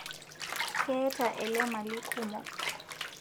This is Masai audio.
Keeta ele mali kumo